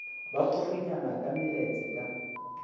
ba purunyana ka meletse ka